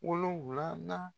Wolonwulanan